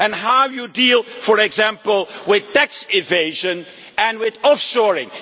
How do you deal, for example, with tax evasion and with offshoring?